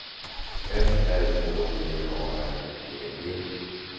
F R Å G A N D E